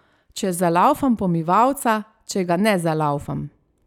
Če zalaufam pomivalca, če ga ne zalaufam.